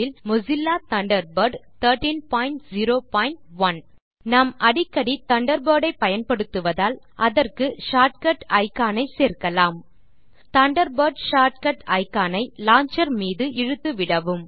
இல் Mozilla Thunderbird 1301 நாம் அடிக்கடி Thunderbird ஐ பயன்படுத்துவதால் அதற்கு ஷார்ட் கட் இக்கான் ஐ சேர்க்கலாம் தண்டர்பர்ட் ஷார்ட் கட் இக்கான் ஐ லான்ச்சர் மீது இழுத்துவிடவும்